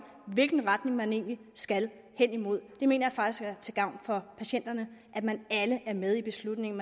hvilken retning man egentlig skal henimod jeg mener faktisk at det er til gavn for patienterne at man alle er med i beslutningen